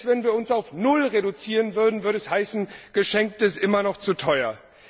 Selbst wenn wir uns auf Null reduzieren würden, würde es heißen Geschenkt ist immer noch zu teuer!